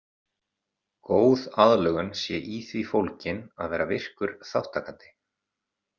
Góð aðlögun sé í því fólgin að vera virkur þátttakandi.